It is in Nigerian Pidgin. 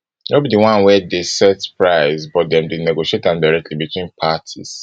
no be di one wey dey set price but dem dey negotiate am directly between parties